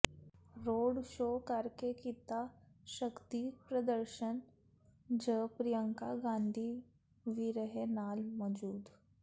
road show ਕਰਕੇ ਕੀਤਾ ਸ਼ਕਤੀ ਪ੍ਰਦਰਸ਼ਨ ਝ ਪ੍ਰਿਅੰਕਾ ਗਾਂਧੀ ਵੀ ਰਹੇ ਨਾਲ ਮੌਜੂਦ